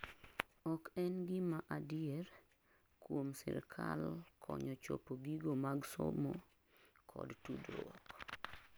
ok en gima adier mkuom sirkal konyo chopo gigo mag soso kod tudruok